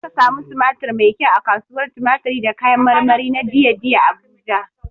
Za ka samu tumatir mai kyau a kasuwar tumatiri da kayan marmari na dei dei Abuja.